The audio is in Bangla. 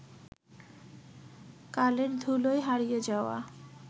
কালের ধুলোয় হারিয়ে যাওয়া